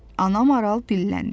Ana maral dilləndi.